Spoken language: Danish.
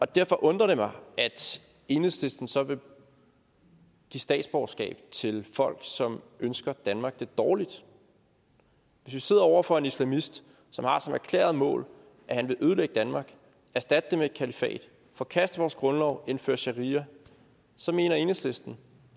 derfor undrer det mig at enhedslisten så vil give statsborgerskab til folk som ønsker danmark det dårligt hvis vi sidder over for en islamist som har som erklæret mål at han vil ødelægge danmark erstatte det med et kalifat forkaste vores grundlov indføre sharia så mener enhedslisten